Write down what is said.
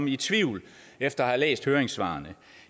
i tvivl efter at have læst høringssvarene